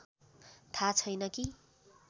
थाहा छैन कि